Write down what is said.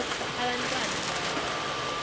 abant wana abadlala